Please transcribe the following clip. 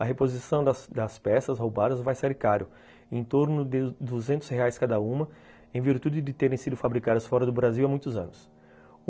A reposição das das peças roubadas vai ser caro, em torno de duzentos reais cada uma, em virtude de terem sido fabricadas fora do Brasil há muitos anos.